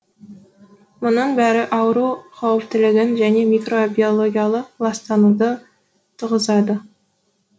мұның бәрі ауру қауіптілігін және микробиологиялық ластануды туғызады